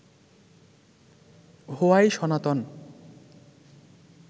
why Sanatan